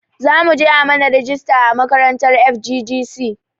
Zamuje a mana rajista a makarantar FGGC